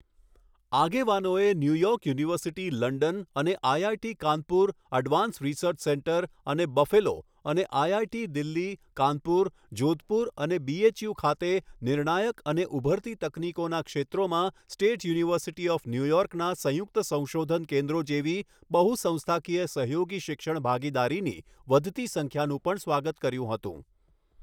આગેવાનોએ New York University London અને IIT Kanpur Advanced Research Centre અને બફેલો અને આઈઆઈટી દિલ્હી, કાનપુર, જોધપુર, અને બીએચયુ ખાતે નિર્ણાયક અને ઉભરતી તકનીકોના ક્ષેત્રોમાં સ્ટેટ યુનિવર્સિટી ઓફ ન્યૂયોર્કના સંયુક્ત સંશોધન કેન્દ્રો જેવી બહુ સંસ્થાકીય સહયોગી શિક્ષણ ભાગીદારીની વધતી સંખ્યાનું પણ સ્વાગત કર્યું હતું.